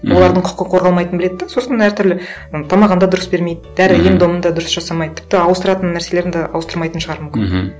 олардың құқы қорғалмайтынын біледі де сосын әртүрлі м тамағын да дұрыс бермейді дәрі ем домын да дұрыс жасамайды тіпті ауыстыратын нәрселерін де ауыстырмайтын шығар мүмкін мхм